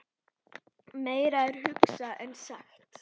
Meira er hugsað en sagt.